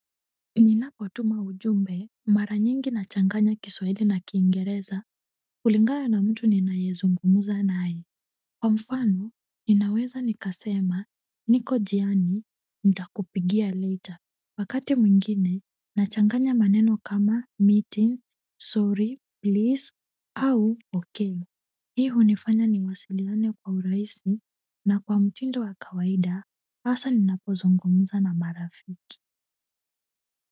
Ninapotuma ujumbe mara nyingi nachanganya Kiswahili na Kiingereza kulingana na mtu ninayezungumza naye, kwa mfano ninaweza nikasema niko njiani nitakupigia later wakati mwingine nachanganya maneno kama meeting, sorry please au ok hii hunifanya niwasiliane kwa urahisi na kwa mtindo wa kawaida hasa ninapozungumza na marafiki.